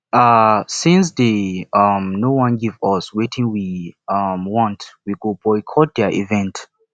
um since dey um no wan give us wetin we um want we go boycott their event